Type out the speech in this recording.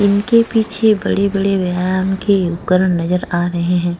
इनके पीछे बड़े-बड़े व्यायाम के उपकरण नजर आ रहे हैं।